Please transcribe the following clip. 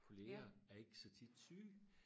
kollegaer er ikke så tit syge